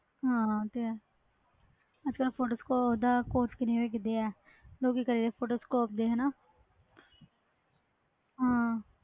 ਹਾਂ ਤੇ photoshopcourse ਦਾ ਕੀਦਾ ਕਿ ਆ ਫੋਟੋ ਸ਼ੋਪ ਦੇ